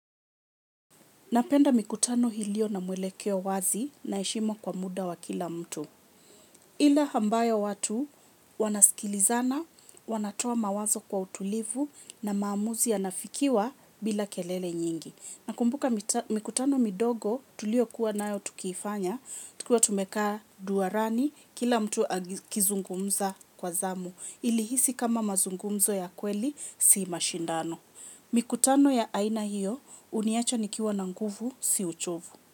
Napenda mikutano iliyo na mwelekeo wazi na heshima kwa muda wa kila mtu. Ila ambaya watu wanaskilizana, wanatoa mawazo kwa utulivu na maamuzi yanafikiwa bila kelele nyingi. Nakumbuka mikutano midogo tulio kuwa na yo tukiifanya, tukiwa tumekaa nduarani kila mtu akizungumza kwa zamu ilihisi kama mazungumzo ya kweli si mashindano. Mikutano ya aina hiyo, uniacha nikiwa na nguvu, siuchovu.